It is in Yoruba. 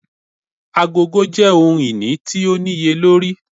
Agogo jẹ ohun-ini ti o niyelori.